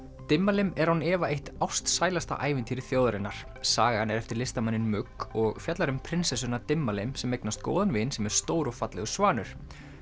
Dimmalimm er án efa eitt ástsælasta ævintýri þjóðarinnar sagan er eftir listamanninn og fjallar um prinsessuna Dimmalimm sem eignast góðan vin sem er stór og fallegur svanur